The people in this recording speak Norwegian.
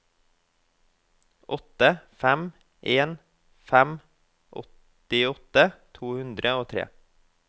åtte fem en fem åttiåtte to hundre og tre